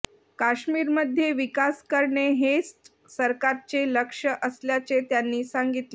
काश्मीरमध्ये विकास करणे हेच सरकारचे लक्ष्य असल्याचे त्यांनी सांगितले